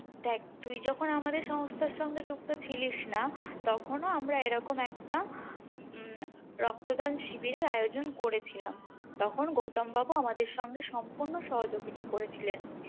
দেখ তুই যখন আমাদের সংস্থার সঙ্গে যুক্ত ছিলিস না তখনও আমরা এরকম একটা উম রক্তদান শিবিরের আয়োজন করেছিলাম তখন গৌতম বাবু আমাদের সঙ্গে সম্পূর্ণ সহযোগীতা করেছিলেন